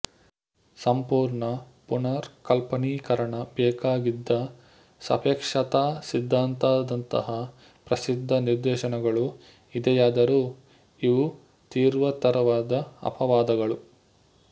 ಸಂಪೂರ್ಣ ಪುನರ್ಕಲ್ಪನೀಕರಣ ಬೇಕಾಗಿದ್ದ ಸಾಪೇಕ್ಷತಾ ಸಿದ್ಧಾಂತದಂತಹ ಪ್ರಸಿದ್ಧ ನಿದರ್ಶನಗಳು ಇದೆಯಾದರೂ ಇವು ತೀವ್ರತರವಾದ ಅಪವಾದಗಳು